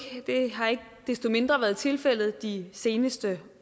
desto mindre været tilfældet de seneste